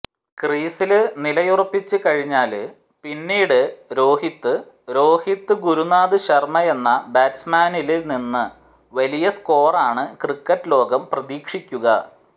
ക്രീസില് നിലയുറപ്പിച്ച് കഴിഞ്ഞാല് പിന്നീട് രോഹിത് രോഹിത് ഗുരുനാഥ് ശര്മയെന്ന ബാറ്റ്സ്മാനില് നിന്ന് വലിയ സ്കോറാണ് ക്രിക്കറ്റ് ലോകം പ്രതീക്ഷിക്കുക